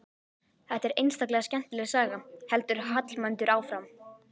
Þetta er einstaklega skemmtileg saga, heldur Hallmundur áfram.